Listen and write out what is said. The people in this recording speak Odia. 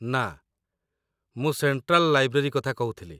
ନା, ମୁଁ ସେଣ୍ଟ୍ରାଲ୍ ଲାଇବ୍ରେରୀ କଥା କହୁଥିଲି